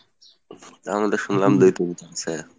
তার মধ্যে শুনলাম যে তুমি